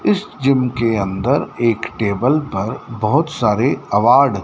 इस जिम के अंदर एक टेबल पर बहुत सारे अवार्ड --